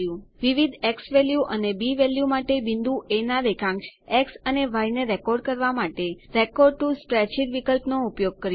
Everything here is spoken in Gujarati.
વિવિધ ઝવેલ્યુ અને બી વેલ્યુ માટે બિંદુ એ ના રેખાંશ એક્સ અને ય ને રેકોર્ડ કરવા માટે રેકોર્ડ ટીઓ સ્પ્રેડશીટ વિકલ્પનો ઉપયોગ કર્યો